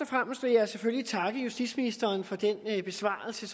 fremmest vil jeg selvfølgelig takke justitsministeren for den besvarelse